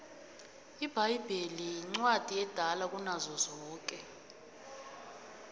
ibhayibheli incwadi edala kunazo zonke